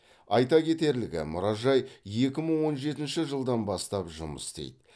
айта кетерлігі мұражай екі мың он жетінші жылдан бастап жұмыс істейді